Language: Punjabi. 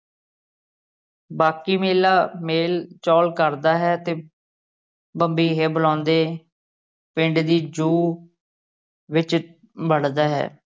ਬਾਕੀ ਮੇਲਾ ਮੇਲ ਚੋੜ ਕਰਦਾ ਹੈ ਤੇ ਬੰਬੀਹੇ ਬੁਲਾਉਂਦੇ ਪਿੰਡ ਦੀ ਜੂਹ ਵਿਚ ਵੜਦਾ ਹੈ।